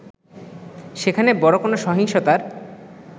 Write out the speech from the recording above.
সেখানে বড় কোন সহিংসতার